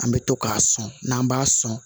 An bɛ to k'a sɔn n'an b'a sɔn